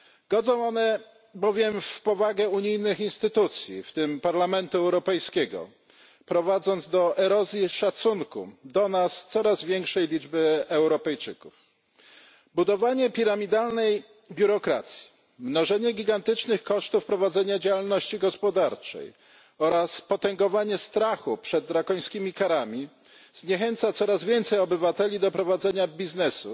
Godzą one bowiem w powagę unijnych instytucji, w tym Parlamentu Europejskiego, prowadząc do erozji szacunku do nas coraz większej liczby Europejczyków. Budowanie piramidalnej biurokracji, mnożenie gigantycznych kosztów prowadzenia działalności gospodarczej oraz potęgowanie strachu przed drakońskimi karami zniechęca coraz większe grono obywateli do prowadzenia biznesu,